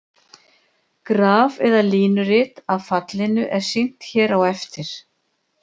Graf eða línurit af fallinu er sýnt hér á eftir.